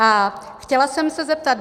A chtěla jsem se zeptat.